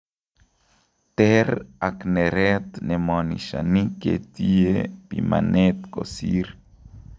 Teer ak nereet nemonishani ketiye bimaneet kosiir